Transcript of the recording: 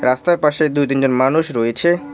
রাস্তার পাশে দুই তিন জন মানুষ রয়েছে।